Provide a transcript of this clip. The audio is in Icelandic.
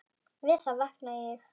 Við það vaknaði ég.